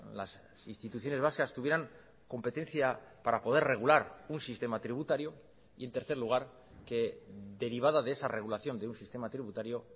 las instituciones vascas tuvieran competencia para poder regular un sistema tributario y en tercer lugar que derivada de esa regulación de un sistema tributario